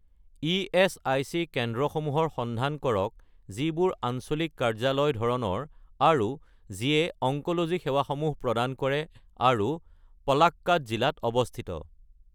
ESIC কেন্দ্ৰসমূহৰ সন্ধান কৰক যিবোৰ আঞ্চলিক কাৰ্যালয় ধৰণৰ আৰু যিয়ে অংক'লজি সেৱাসমূহ প্ৰদান কৰে আৰু পলাক্কাদ জিলাত অৱস্থিত